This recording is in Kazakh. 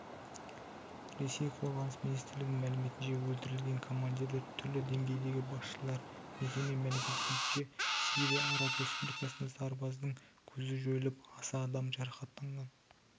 ресей қорғаныс министрлігінің мәліметінше өлтірілген командирлер түрлі деңгейдегі басшылар мекеме мәліметінше сирия араб республикасында сарбаздың көзі жойылып аса адам жарақаттанған